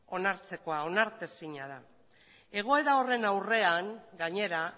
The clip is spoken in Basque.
onartzekoa onartezina da egoera horren aurrean gainera